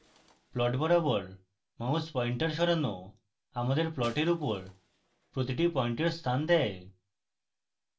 plot বরাবর mouse pointer সরানো আমাদের প্লটের উপর প্রতিটি পয়েন্টের স্থান দেয়